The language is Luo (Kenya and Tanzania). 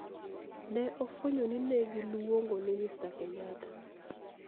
Ne ofwenyo ni ne giluongo ni Mr Kenyatta;